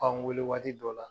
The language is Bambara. An wele waati dɔ la,